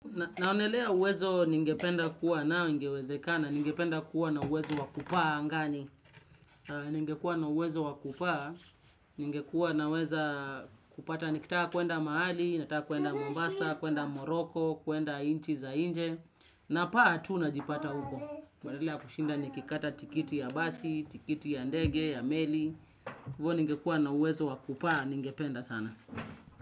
Naonelea uwezo ningependa kuwa nao ingewezekana, ningependa kuwa na uwezo wakupaa angani, ningekua na uwezo wakupaa, ningekua na uwezo wakupaa, ningekua naweza kupata nikitaka kuenda mahali, nataka kuenda Mombasa, kuenda Moroko, kuenda inchi za nje, na paa tu najipata huko. Badala ya kushinda nikikata tikiti ya basi, tikiti ya ndege, ya meli, hivyo ningekua na uwezo wakupaa ningependa sana.